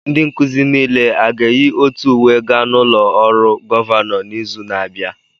Ndị nkuzi niile aga-eyi otu uwe gaa n'ụlọ ọrụ gọvanọ n'izu na-abịa?